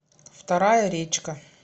вторая речка